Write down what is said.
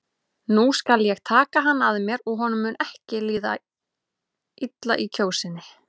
Nú skal ég taka hann að mér og honum mun ekki líða illa í Kjósinni.